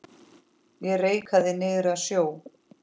Ég reikaði niður að sjó.